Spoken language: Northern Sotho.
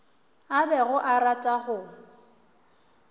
a bego a rata go